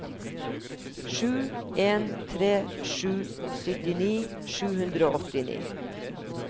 sju en tre sju syttini sju hundre og åttini